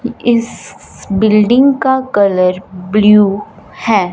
इस बिल्डिंग का colour blue है।